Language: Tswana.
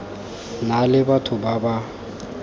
na le batho ba ba